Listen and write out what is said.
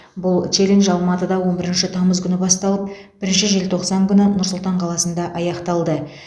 бұл челлендж алматыда он бірінші тамыз күні басталып бірінші желтоқсан күні нұр сұлтан қаласында аяқталды